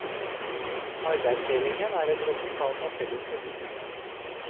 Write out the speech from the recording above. Arbeidsdelingen er et resultat av felles beslutninger.